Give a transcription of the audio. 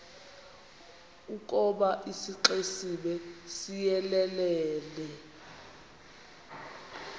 ukoba isixesibe siyelelene